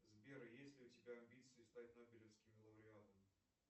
сбер есть ли у тебя амбиции стать нобелевским лауреатом